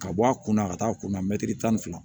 Ka bɔ a kunna a ka taa kunna tan ni fila